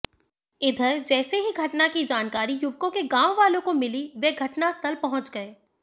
इधर जैसे ही घटना की जानकारी युवकों के गांववालों को मिली वे घटनास्थल पहुंच गए